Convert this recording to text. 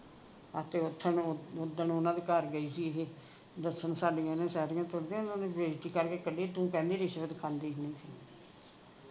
ਹਾਂ ਤੇ ਓਥੇ ਨੂੰ ਓਦਣ ਓਹਨਾ ਦੇ ਘਰ ਗਈ ਸੀ ਇਹੇ ਦੱਸਣ ਸਾਡੀਆਂ ਇਹਨੇ ਸੇਟੀਆਂ ਤੋੜ ਤੀਆਂ ਬੇਜਤੀ ਕਰਕੇ ਕਲੀ ਤੂੰ ਕਹਿੰਦੀ ਰਿਸ਼ਵਤ ਖਾਂਦੀ